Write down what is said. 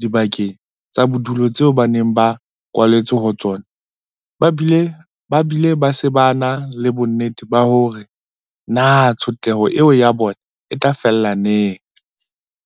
dibakeng tsa bodulo tseo ba neng ba kwaletswe ho tsona, ba bile ba se na le bonnete ba hore na tshotleho eo ya bona e tla fela neng.